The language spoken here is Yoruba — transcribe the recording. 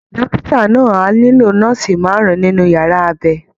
Dókítà náà á nílò nọ́ọ̀sì márùn-ún nínú yàrá abẹ